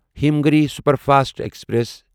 Himgiri superfast express